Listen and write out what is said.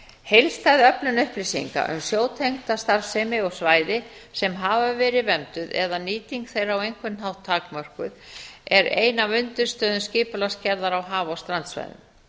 heildstæð öflun upplýsinga um sjótengda starfsemi og svæði sem hafa verið vernduð og nýting þeirra á einhvern hátt takmörkuð er ein af undirstöðum skipulagsgerðar á haf og strandsvæðum